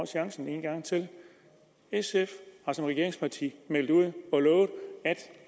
chancen en gang til sf har som regeringsparti meldt ud og lovet